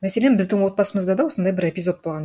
мәселен біздің отбасымызда да осындай бір эпизод болған